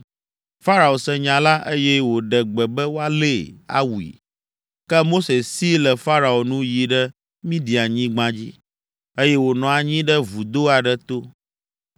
Farao se nya la, eye wòɖe gbe be woalée, awui. Ke Mose si le Farao nu yi ɖe Midianyigba dzi, eye wònɔ anyi ɖe vudo aɖe to.